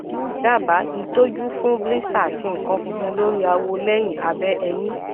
daba itoju fun blister ati nkan funfun lori awo leyin abe eyin